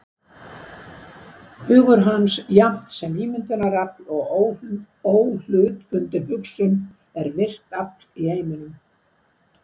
Hugur hans, jafnt ímyndunarafl og óhlutbundin hugsun, er virkt afl í heiminum.